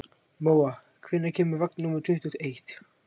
Móa, hvenær kemur vagn númer tuttugu og eitt?